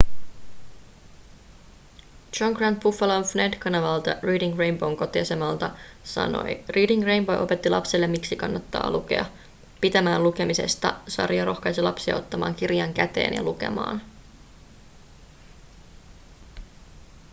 john grant buffalon wned-kanavalta reading rainbow'n kotiasemalta sanoi: reading rainbow opetti lapsille miksi kannattaa lukea –– pitämään lukemisesta – [sarja] rohkaisi lapsia ottamaan kirjan käteen ja lukemaan.